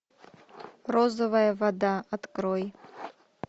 розовая вода открой